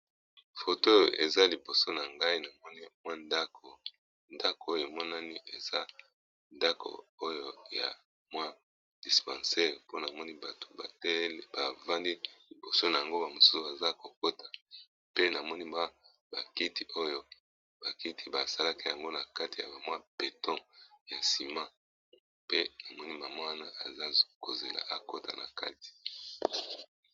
Photo eza liboso nangai na moni ndako, ndako oyo emonani eza ndako ya dispensaire ponamoni bato bavandi liboso nango bamosusu baso KO kota pe namoni ba kiti oyo basali yango na kati ya beteaux ya ciment pe namoni maman wana azo zela akota na kati.